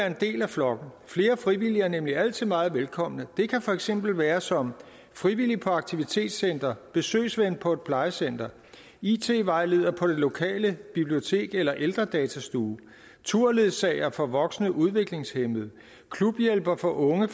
en del af flokken flere frivillige er nemlig altid meget velkomne det kan for eksempel være som frivillig på aktivitetscentre besøgsven på et plejecenter it vejleder på det lokale bibliotek eller ældredatastue turledsager for voksne udviklingshæmmede klubhjælper for unge